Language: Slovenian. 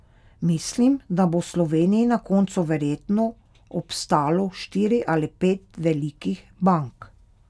Mislim, da bo v Sloveniji na koncu verjetno obstalo štiri ali pet velikih bank.